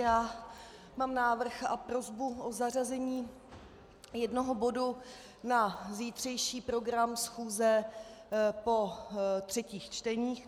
Já mám návrh a prosbu o zařazení jednoho bodu na zítřejší program schůze po třetích čteních.